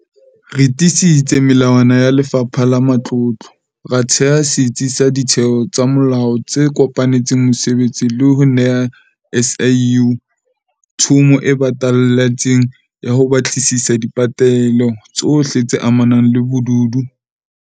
Re tiisitse melawana ya Lefapha la Matlotlo, ra theha setsi sa ditheo tsa molao tse kopanetseng mosebetsi le ho neha SIU thomo e batalletseng ya ho batlisisa dipelaelo tsohle tse amanang le bobodu ba dithendara tsa COVID-19.